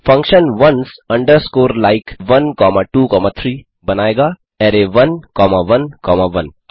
function ones underscore like in 1 comma 2 comma 3 बनाएगा array 1 comma 1 comma 1